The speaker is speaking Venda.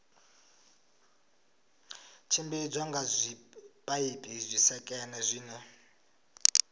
tshimbidzwa nga zwipaipi zwisekene zwine